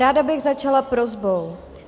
Ráda bych začala prosbou.